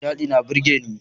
Nishaɗi na burgeni.